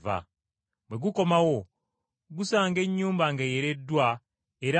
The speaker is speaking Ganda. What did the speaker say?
Bwe guddayo gusanga ennyumba ng’eyereddwa era nga ntegeke.